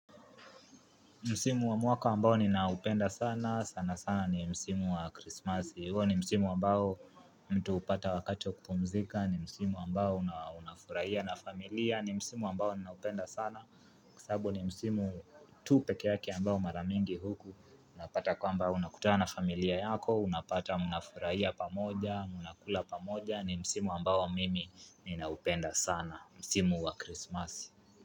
Msimu wa mwaka ambao ninaupenda sana, sana sana ni msimu wa krismasi, huwa ni msimu ambao mtu hupata wakati wa kupumzika, ni msimu ambao unafurahia na familia, ni msimu ambao ninaupenda sana, kwasabu ni msimu tu peke yake ambao mara mingi huku, napata kwamba unakutana familia yako, unapata mnafurahia pamoja, mnakula pamoja, ni msimu ambao mimi ninaupenda sana, msimu wa krismasi.